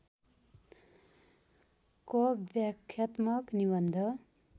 क व्याख्यात्मक निबन्ध